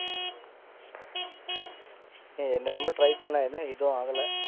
என்ன என்னம்மோ try பன்ன, எதுவும் ஆகல!